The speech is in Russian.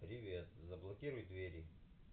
привет заблокируй двери